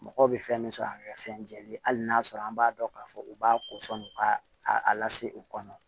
Mɔgɔw bɛ fɛn min sɔrɔ a ka fɛn jɛlen ye hali n'a sɔrɔ an b'a dɔn k'a fɔ u b'a kosɔn u k'a lase u kɔnɔ